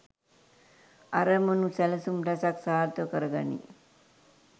අරමුණු සැලසුම් රැසක් සාර්ථක කර ගනී.